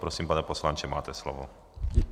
Prosím, pane poslanče, máte slovo.